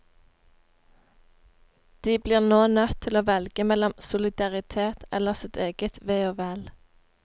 De blir nå nødt til å velge mellom solidaritet eller sitt eget ve og vel.